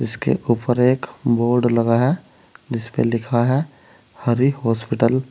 इसके ऊपर एक बोर्ड लगा है जिसपे लिखा है हरि हॉस्पिटल ।